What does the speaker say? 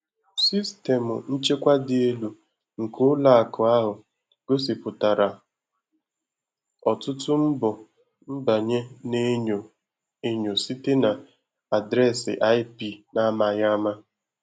Sistemụ nchekwa dị elu nke ụlọ akụ ahụ gosipụtara ọtụtụ mbọ nbanye na-enyo enyo site na adreesị IP na-amaghị ama.